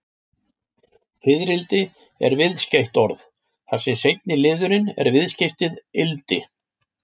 Fiðrildi er viðskeytt orð, þar sem seinni liðurinn er viðskeytið-ildi.